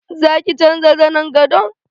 Za ki canja zanen gadon?